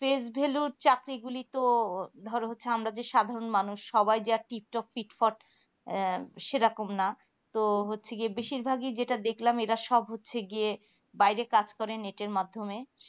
face value র চাকরি গুলি তো ধরো আমরা হচ্ছে আমরা সাধারণ মানুষ সবাই যে আর টিক টপ ফিট ফট আহ সেইরকম না তো হচ্ছে কি বেশিরভাগি যেটা দেখলাম এরা সব হচ্ছে গিয়ে বাইরে কাজ করে এটার মাধ্যমে